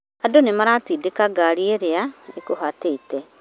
Andũnĩmaratindĩka ngari ĩrĩa ĩgũhaatĩte